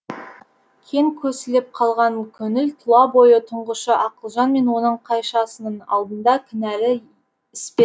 кең көсіліп қалған көңіл тұла бойы тұңғышы ақылжан мен оның қайшасының алдында кінәлі іспетті